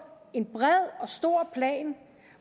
en bred og stor plan